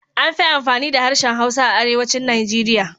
Amfi amfani da harshen Hausa a Arewacin Nigeria.